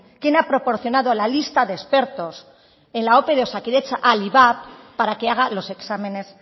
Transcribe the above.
quién ha proporcionado la lista de expertos en la ope de osakidetza al ivap para que haga los exámenes